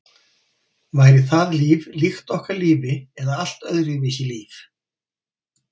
Væri það líf líkt okkar lífi eða allt öðruvísi líf?